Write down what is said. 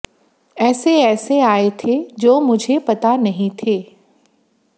ऐसे ऐसे आये थे जो मुझे पता नहीं थे